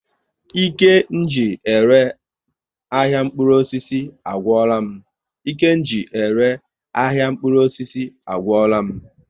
Ike ji ere ahịa mkpụrụ osisi agwụla m